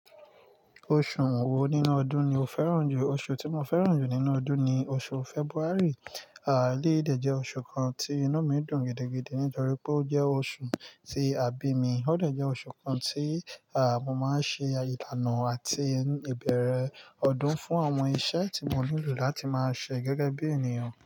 Oṣù wo nínú ọdún ni o fẹ́ràn jù? Oṣù tí mo fẹ́ràn jù nínú ọdún ni oṣù February. À eleyi dẹ̀ jẹ́ oṣù kan tí inú mi dùn gidigidi nítorí pé ó jẹ́ oṣù tí a bí mi. Ó dẹ̀ jẹ́ oṣù kan tí, à, mo máa ń ṣe àyè ìlànà àti ìbẹ̀rẹ̀ ọdún fún àwọn iṣẹ́ tí mo nílò láti máa ṣe gẹ́gẹ́ bí ènìyàn.